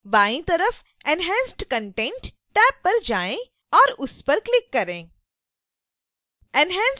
बाईं तरफ enhanced content tab पर जाएँ और उस पर क्लिक करें